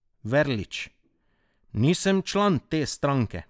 Verlič: "Nisem član te stranke.